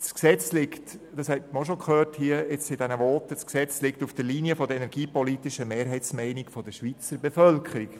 Wie man in den Voten hier auch schon gehört hat, liegt das Gesetz auf der Linie der energiepolitischen Mehrheitsmeinung der Schweizer Bevölkerung.